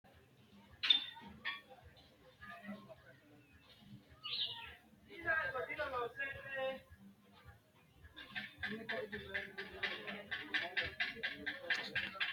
Rosaano konne roso ha’runsatenni mitte mittente fooliishshonni doorante fultino qara malaatta rosiisi’ratenni malaatu afii dandoonsanna egennonsa bowirsi’ransa agarranni Rosaano konne.